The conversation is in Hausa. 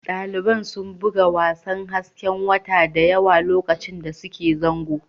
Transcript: Daliban sun buga wasan hasken wata da yawa lokacin da suke zango